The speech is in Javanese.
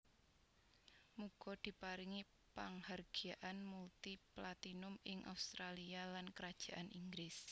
Muga diparingi panghargyaan multi platinum ing Australia lan Kerajaan Inggris